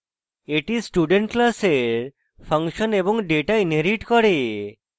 এটি student class function এবং data inherits করে